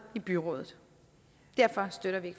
i byrådet derfor støtter vi